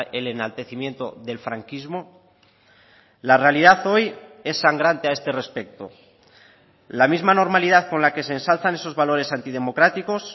el enaltecimiento del franquismo la realidad hoy es sangrante a este respecto la misma normalidad con la que se ensalzan esos valores antidemocráticos